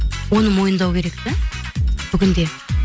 оны мойындау керек те бүгінде